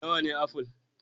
Nawa ne aful?